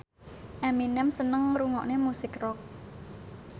Eminem seneng ngrungokne musik rock